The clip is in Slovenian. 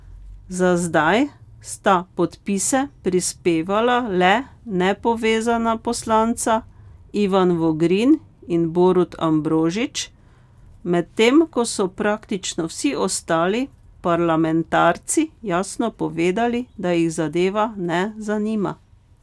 Za zdaj sta podpise prispevala le nepovezana poslanca Ivan Vogrin in Borut Ambrožič, medtem ko so praktično vsi ostali parlamentarci jasno povedali, da jih zadeva ne zanima.